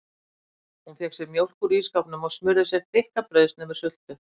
Hún fékk sér mjólk úr ísskápnum og smurði sér þykka brauðsneið með sultu.